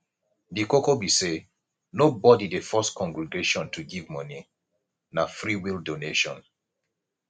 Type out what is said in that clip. di koko be sey nobody dey force congregation to give moni na freewill donation